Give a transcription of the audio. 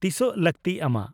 -ᱛᱤᱥᱚᱜ ᱞᱟᱹᱠᱛᱤ ᱟᱢᱟᱜ?